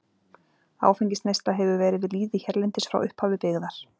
Áfengisneysla hefur verið við lýði hérlendis frá upphafi byggðar.